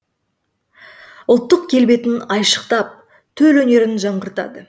ұлттық келбетін айшықтап төл өнерін жаңғыртады